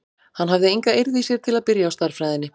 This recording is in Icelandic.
Hann hafði enga eirð í sér til að byrja á stærðfræðinni.